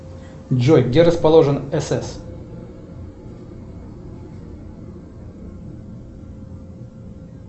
джой где расположен сс